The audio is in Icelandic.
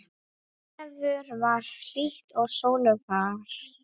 Veður var hlýtt og sólfar.